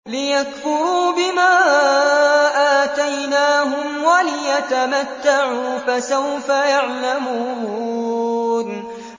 لِيَكْفُرُوا بِمَا آتَيْنَاهُمْ وَلِيَتَمَتَّعُوا ۖ فَسَوْفَ يَعْلَمُونَ